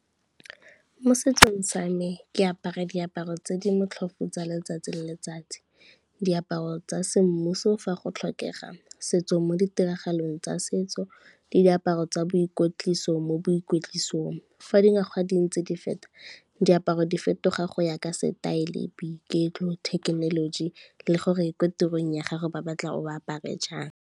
Mo setsong sa me ke apara diaparo tse di motlhofu tsa letsatsi le letsatsi. Diaparo tsa semmuso fa go tlhokega, setso mo ditiragalong tsa setso le diaparo tsa boikwetliso mo boikwetlisong. Fa dingwaga di ntse di feta diaparo di fetoga go ya ka setaele, boiketlo, thekenoloji le gore ko tirong ya gago ba batla o apare jang.